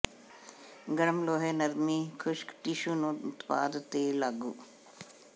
ਗਰਮ ਲੋਹੇ ਨਰਮੀ ਖੁਸ਼ਕ ਟਿਸ਼ੂ ਨੂੰ ਉਤਪਾਦ ਤੇ ਲਾਗੂ